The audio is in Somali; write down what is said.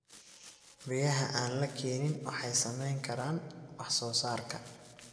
Biyaha aan la keenin waxay saameyn karaan wax soo saarka.